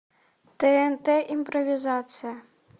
тнт импровизация